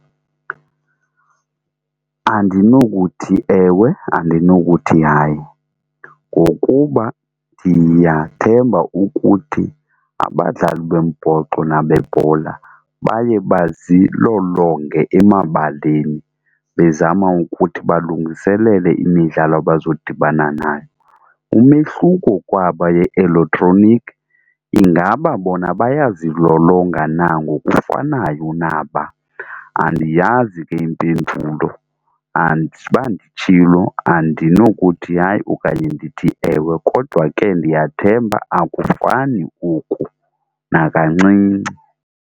Andinokuthi ewe, andinokuthi hayi. Ngokuba ndiyathemba ukuthi abadlali bombhoxo nabebhola baye bazilolonge emabaleni bezama ukuthi balungiselele imidlalo abazodibana nayo. Umehluko kwaba ye-elektroniki ingaba bona bayazilolonga na ngokufanayo naba? Andiyazi ke impendulo, anditsho uba nditshilo andinokuthi hayi okanye ndithi ewe kodwa ke ndiyathemba akufani oku nakancinci.